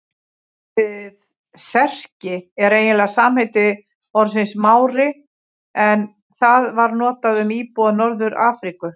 Orðið Serki er eiginlega samheiti orðsins Mári en það var notað um íbúa Norður-Afríku.